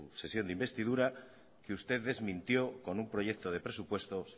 sesión de investidura que usted desmintió con un proyecto de presupuestos